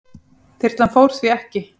Þyrlan fór því ekki.